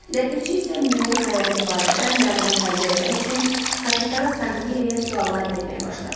Ləpirçi isə Müürün xəyanəti barədə məlumat əldə eləmək üçün Kapitan Sanqliya suallar verməyə başladı.